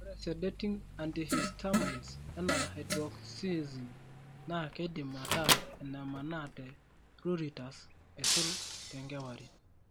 Ore Sedating antihistamines enaa hydroxyzine naa keidim ataa enemaana te pruritus, aisul tenkewarie.